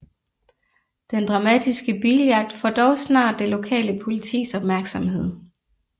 Den dramatiske biljagt får dog snart det lokale politis opmærksomhed